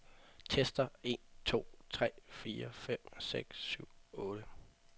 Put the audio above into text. Tester en to tre fire fem seks syv otte.